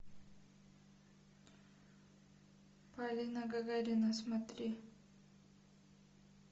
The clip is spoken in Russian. полина гагарина смотри